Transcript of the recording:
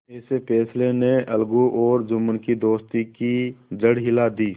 इस फैसले ने अलगू और जुम्मन की दोस्ती की जड़ हिला दी